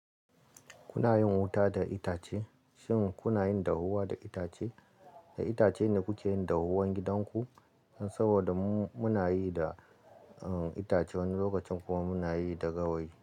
Kuna yin wuta da itace? Shin kuna yin dahuwa da itace? Da itace ne kuke yin dahuwan gidan ku? Saboda mu muna yi da, eh, itace wani lokaci kuma muna yi da gawayi.